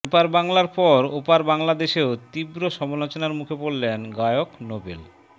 এপার বাংলার পর ওপার বাংলাদেশেও তীব্র সমালোচনার মুখে পড়লেন গায়ক নোবেল